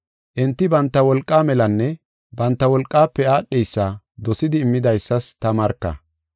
Enti banta wolqaa melanne banta wolqafe aadheysa dosidi immidaysas ta marka.